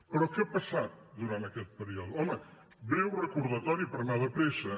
però què ha passat durant aquest període home un breu recordatori per anar de pressa